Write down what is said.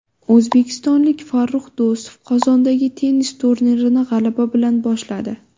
O‘zbekistonlik Farrux Do‘stov Qozondagi tennis turnirini g‘alaba bilan boshladi.